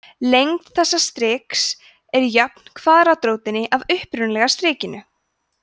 lengd þessa striks er jöfn kvaðratrótinni af upphaflega strikinu